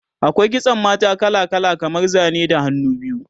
akwai kitsan mata kala kala kamar Zane da hannu biyu